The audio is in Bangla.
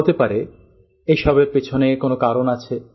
হতে পারে এসবের পেছনে কোনো কারন আছে